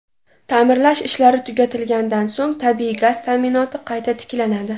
Ta’mirlash ishlari tugatilgandan so‘ng tabiiy gaz ta’minoti qayta tiklanadi.